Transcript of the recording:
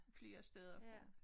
Flere steder fra